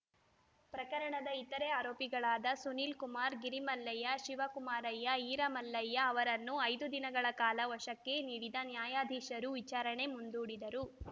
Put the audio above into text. ಪ್ರಕರಣದ ಇತರೆ ಆರೋಪಿಗಳಾದ ಸುನೀಲ್‌ ಕುಮಾರ್‌ ಗಿರಿಮಲ್ಲಯ್ಯ ಶಿವಕುಮಾರಯ್ಯ ಈರಮಲ್ಲಯ್ಯ ಅವರನ್ನು ಐದು ದಿನಗಳ ಕಾಲ ವಶಕ್ಕೆ ನೀಡಿದ ನ್ಯಾಯಾಧೀಶರು ವಿಚಾರಣೆ ಮುಂದೂಡಿದರು